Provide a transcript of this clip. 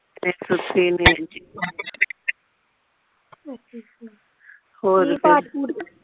ਅੱਛਾ ਅੱਛਾ ਹੋਰ ਕੀ